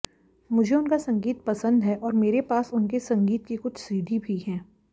मुझे उनका संगीत पसंद है और मेरे पास उनके संगीत की कुछ सीडी भी हैं